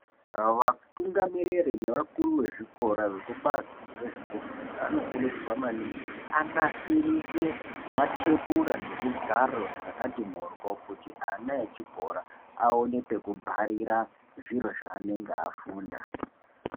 Vatungamiriri nevakuru vezvikora vekubazi rezvekufunda vanokurudzirwa maningi kuti anasirise matebhura nezvigaro zvakati mhoryo kuti ana echikora aone pekubharira zviro zvaanenge afunda.